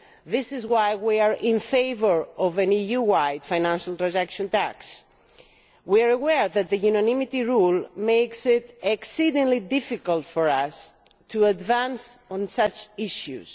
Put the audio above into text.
That is why we are in favour of an EU wide financial transaction tax. We are aware that the unanimity rule makes it exceedingly difficult for us to advance on such issues.